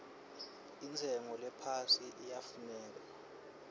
intshengo lephasi iyafuneka